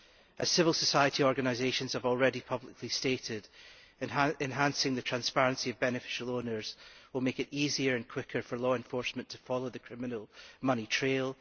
As civil society organisations have already publicly stated, enhancing transparency on beneficial owners will make it easier and quicker for law enforcers to follow the criminal money trail.